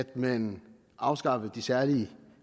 man afskaffede de særlig